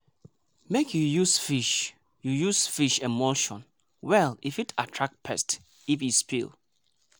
make you use fish you use fish emulsion well e fit attract pest if e spill.